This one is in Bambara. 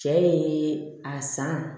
Cɛ ye a san